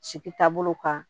Sigi taabolo kan